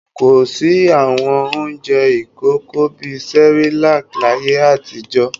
Kò sí àwọn oúnjẹ ìkókó bí i Cerelac láyé àtijọ́.